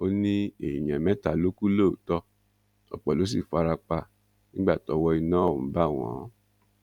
ó ní èèyàn mẹta ló kù lóòótọ ọpọ ló sì fara pa nígbà tọwọ iná ọhún bá wọn